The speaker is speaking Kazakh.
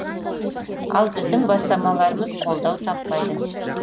ал біздің бастамаларымыз қолдау таппайды